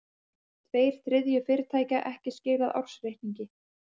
Tveir þriðju fyrirtækja ekki skilað ársreikningi